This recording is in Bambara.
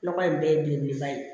Nɔgɔ in bɛɛ ye belebeleba ye